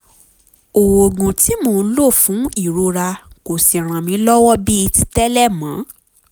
oògùn tí mò ń lò fún ìrora kò sì ràn mí lọ́wọ́ bíi ti tẹ́lẹ̀ mọ́